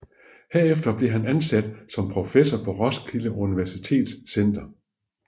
Herefter blev han ansat som professor på Roskilde Universitets Center